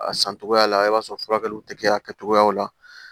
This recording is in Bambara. A san cogoya la i b'a sɔrɔ furakɛliw tɛ kɛ a kɛcogoyaw la